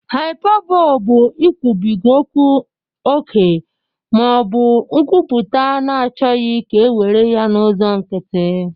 Hyperbole bụ ikwubiga okwu ókè ma ọ bụ nkwuputa na-achọghị ka e were ya n'ụzọ nkịtị